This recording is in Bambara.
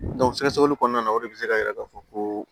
sɛgɛsɛgɛli kɔnɔna na o de bɛ se k'a jira k'a fɔ ko